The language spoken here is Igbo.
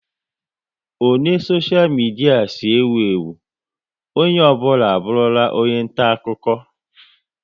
O ne soshia midia si ewu ewu, onye ọ bụla abụrụla onye nta akụkọ